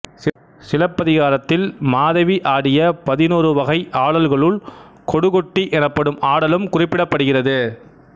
சிலப்பதிகாரத்தில் மாதவி ஆடிய பதினோரு வகை ஆடல்களுல் கொடுகொட்டி எனப்படும் ஆடலும் குறிப்பிடப்படுகிறது